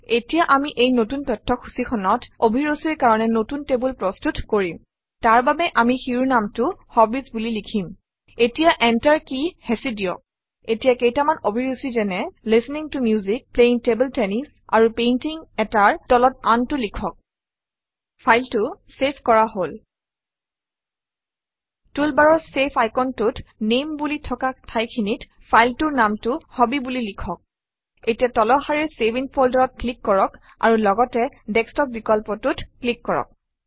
এতিয়া আমি এই নতুন তথ্যসূচীখনত অভিৰুচিৰ কাৰণে নতুন টেবুল প্ৰস্তুত কৰিম তাৰবাবে আমি শিৰোনামটো হবিজ বুলি লিখিম এতিয়া enter কী হেঁচি দিয়ক এতিয়া কেইটামান অভিৰুচি যেনে - listening to music playing table tennis আৰু Painting - এটাৰ তলত আনটো লিখক ফাইলটো চেভ কৰা হল টুলবাৰৰ চেভ আইকনটোত নামে বুলি থকা ঠাইখিনিত ফাইলটোৰ নামটো হবি বুলি লিখক এতিয়া তলৰ শাৰীৰ চেভ ইন Folder অত ক্লিক কৰক আৰু লগতে ডেস্কটপ বিকল্পটোত ক্লিক কৰক